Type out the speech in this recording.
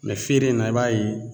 Mɛ feere in na i b'a ye